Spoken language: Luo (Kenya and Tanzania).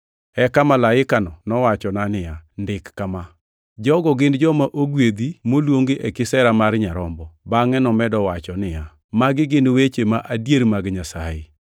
Eka malaikano nowachona niya, “Ndik kama: Jogo gin joma ogwedhi moluongi e kisera mar Nyarombo!” Bangʼe nomedo wacho niya, “Magi gin weche ma adier mag Nyasaye.”